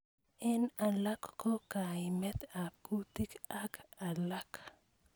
Eng alak ko kaimet ab kutit ak alak.